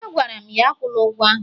Agwara m ya, akwụla ụgwọ ahụ!